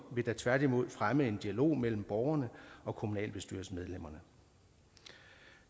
vil da tværtimod fremme en dialog mellem borgerne og kommunalbestyrelsesmedlemmerne